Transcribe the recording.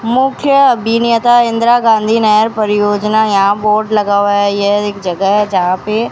मुख्य अभिनेता इंदिरा गांधी नहर परियोजना यहां बोर्ड लगा हुआ है यह एक जगह जहां पे--